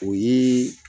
O ye